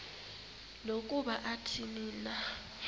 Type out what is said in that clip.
nokuba athini na